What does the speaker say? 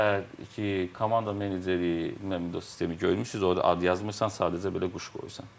Və komanda menejeriyi, mən o sistemi görmüşük, orda ad yazmırsan, sadəcə belə quş qoyursan.